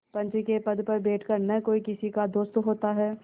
पंच के पद पर बैठ कर न कोई किसी का दोस्त होता है